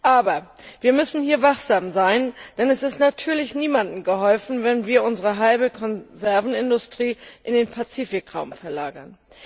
Aber wir müssen wachsam sein, denn es ist natürlich niemandem geholfen, wenn wir unsere halbe Konservenindustrie in den Pazifikraum verlagern.